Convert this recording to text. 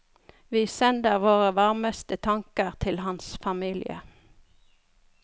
Vi sender våre varmeste tanker til hans familie.